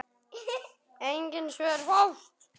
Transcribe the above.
Engin svör fást.